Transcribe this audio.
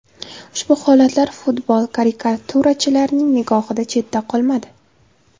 Ushbu holatlar futbol karikaturachilarining nigohidan chetda qolmadi.